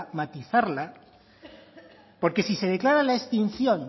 matizarla porque si se declara la extinción